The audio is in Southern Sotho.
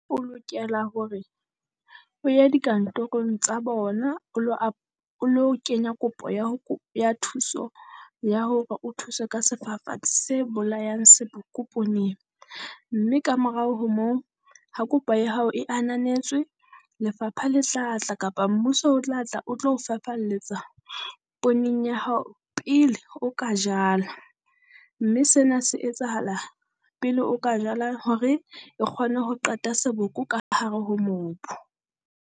O lokela hore o ye dikantorong tsa bona o lo o lo kenya kopo ya ho ya thuso ya hore o thuse ka sefafatsi se bolayang seboko pooneng. Mme kamorao ho moo ha kopo ya hao e ananetswe, lefapha le tla tla kapa mmuso o tla tla o tlo o fafalletsa pooneng ya hao pele o ka jalwa. Mme sena se etsahala pele o ka jala hore e kgone ho qeta seboko ka hare ho mobu.